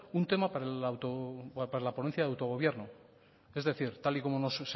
un tema para la ponencia de autogobierno es decir tal y como nos